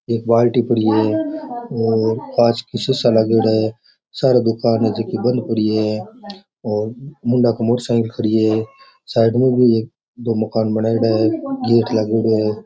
एक बाल्टी पड़ी है और काच का सीसा लागेड़ा है सारे दूकान बंद पड़ी है मोटरसाइकिल खड़ी है एक मकान है गेट लागोड़ा है।